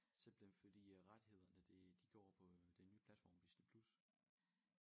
Simpelthen fordi rettighederne det de går på den nye platform Disney+